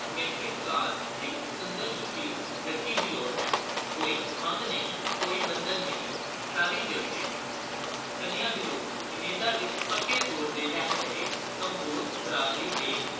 matric pass ਲਈ ਸੁੰਦਰ, ਸੁਸ਼ੀਲ ਲੜਕੀ ਲੋੜ ਹੈ, ਕੋਈ ਮੰਗ ਨਹੀਂ, ਕੋਈ ਬੰਧਨ ਨਹੀਂ, ਸ਼ਾਦੀ ਜਲਦੀ। ਕੰਨੀਆ ਦੀ ਲੋੜ ਕਨੇਡਾ ਵਿੱਚ ਪੱਕੇ ਤੌਰ ਤੇ ਰਹਿ ਰਹੇ ਕੰਬੋਜ ਬਰਾਦਰੀ ਦੇ